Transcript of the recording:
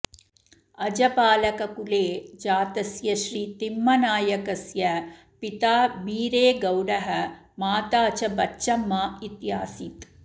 अजपालककुले जातस्यश्री तिम्मनायकस्य पिता बीरेगौडः माता च बच्चम्मा इत्यासीत्